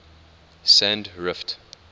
sandrift